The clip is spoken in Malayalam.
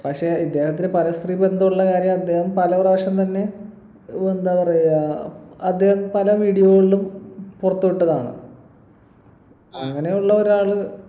പക്ഷെ ഇദ്ദേഹത്തിന് പരസ്ത്രീ ബന്ധമുള്ള കാര്യം അദ്ദേഹം പല പ്രാവശ്യം തന്നെ ഒരു എന്താ പറയാ അദ്ദേഹം പല video കളിലും പറുത്തുവിട്ടതാണ് അങ്ങനെയുള്ള ഒരാള്